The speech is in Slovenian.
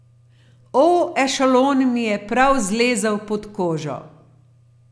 O, Ešalon mi je prav zlezel pod kožo.